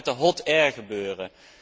Wat gaat er met de hot air gebeuren?